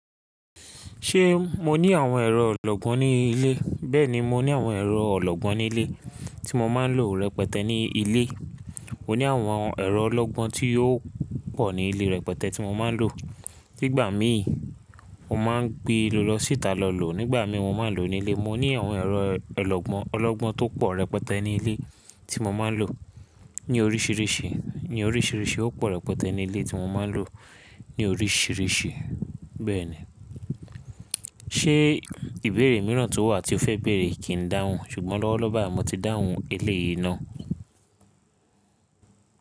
Ṣé mo ní àwọn ẹ̀rọ ọlọ́gbọ́n ní ilé? Bẹ́ẹ̀ni, mo ní àwọn ẹ̀rọ ọlọ́gbọ́n ní ilé tí mo máa ń lò rẹpẹtẹ ní ilé. Mo ní àwọn ẹ̀rọ ọlọ́gbọ́n tí ó pò ní ilé rẹpẹtẹ tí mo máa ń lò. Nígbà mí, mo máa ń gbé lọ lọ síta lọ lò. Nígbà mi mo máa ń lò ó ní ilé. Mo ní àwọn ẹ̀rọ ọlọ́gbọ́n tó pò rẹpẹtẹ ní ilé tí mo máa ń lò ní oríṣìíríṣìí, ní oríṣìíríṣìí ó pò rẹpẹtẹ ní ilé tí mo máa ń lò ní oríṣìíríṣìí bẹ́ẹ̀ni. Ṣé ìbéèrè mìíràn tó wà tí ó fẹ́ béèrè kì í dáhùn? Ṣùgbọ́n lọ́wọ́lọ́wọ́ báyìí mo ti dáhùn eléyìí ná.